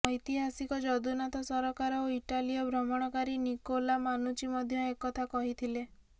ଐତିହାସିକ ଜଦୁନାଥ ସରକାର ଓ ଇଟାଲୀୟ ଭ୍ରମଣକାରୀ ନିକୋଲା ମାନୁଚି ମଧ୍ୟ ଏକଥା କହିଥିଲେ